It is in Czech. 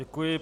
Děkuji.